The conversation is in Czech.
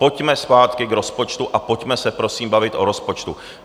Pojďme zpátky k rozpočtu a pojďme se prosím bavit o rozpočtu.